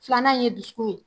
Filanan ye dusukun ye.